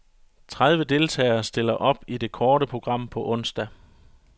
Tredive deltagere stiller op i det korte program på onsdag.